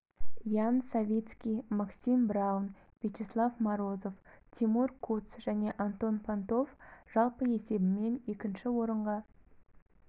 ян савицкий максим браун вячеслав морозов тимур куц және антон пантов жалпы есебімен екінші орынға